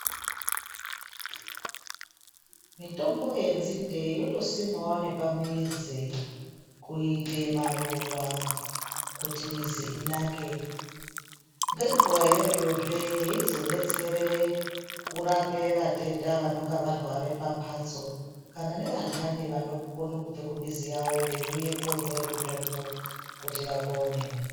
Mitombo yenzinde inotosimwawo pamuzi kuite maruwa kuti mizi intake ngenguwayo iyozve yeizodetsere kurape vatenda vanenge varwara pamhatso kana nevandani vanokone kubva kumuzi yawo veiuye kotore mitombo kuti vapone.